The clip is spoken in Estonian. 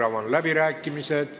Avan läbirääkimised.